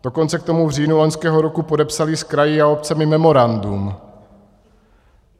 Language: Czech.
Dokonce k tomu v říjnu loňského roku podepsali s kraji a obcemi memorandum.